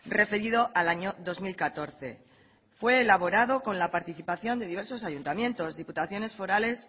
referido al año dos mil catorce fue elaborado con la participación de diversos ayuntamientos diputaciones forales